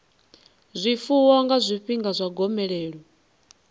zwifuwo nga zwifhinga zwa gomelelo